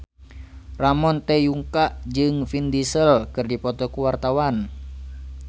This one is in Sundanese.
Ramon T. Yungka jeung Vin Diesel keur dipoto ku wartawan